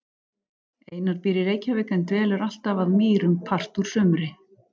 Einar býr í Reykjavík en dvelur alltaf að Mýrum part úr sumri.